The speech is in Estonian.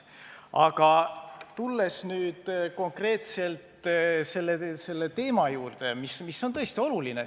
Aga tulen nüüd konkreetselt teema juurde, mis on tõesti oluline.